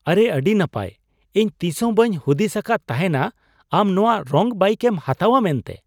ᱟᱨᱮ ᱟᱹᱰᱤ ᱱᱟᱯᱟᱭ ! ᱤᱧ ᱛᱤᱥᱦᱚᱸ ᱵᱟᱹᱧ ᱦᱩᱫᱤᱥ ᱟᱠᱟᱫ ᱛᱟᱦᱮᱸᱱᱼᱟ, ᱟᱢ ᱱᱚᱶᱟ ᱨᱚᱝ ᱵᱟᱭᱤᱠ ᱮᱢ ᱦᱟᱛᱟᱣᱼᱟ ᱢᱮᱱᱛᱮ ᱾